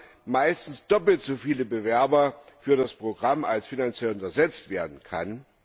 Wir haben meistens doppelt so viele Bewerber für das Programm, als finanziert und ersetzt werden kann.